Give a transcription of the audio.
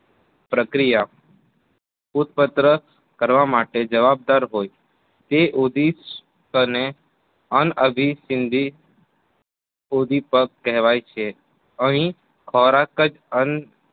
પ્રક્રિયા ઉત્પત્ર કરવા માટે જવાબદાર હોય. તે ઉદિષ્ટ અને અનઅભી સંધિ ઉંધી પગ કહેવાય છે. અહીં ખોરાક જ અન